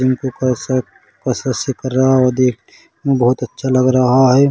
कस कससे कर रहा है वो देख के बहुत अच्छा लग रहा हे।